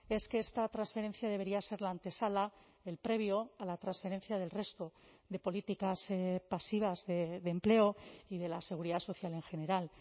es que esta transferencia debería ser la antesala el previo a la transferencia del resto de políticas pasivas de empleo y de la seguridad social en general